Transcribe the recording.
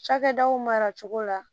Cakɛdaw maracogo la